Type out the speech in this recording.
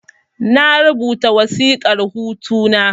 Na rubuta wasiƙar hutu na